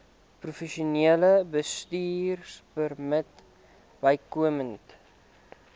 professionele bestuurpermit bykomend